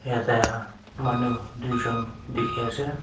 jatte manu duijont dekhi ase.